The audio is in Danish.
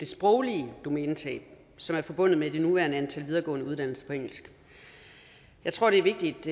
sproglige domænetab som er forbundet med det nuværende antal af videregående uddannelser på engelsk jeg tror det er vigtigt